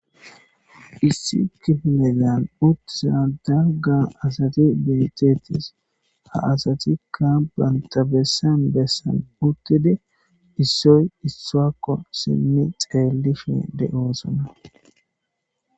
Issi kifilezan utid diza dalga asat de'etesi , ha Asati bantta bessan bessan uttidi issoy issoyssa xeelishe dizayssa besses.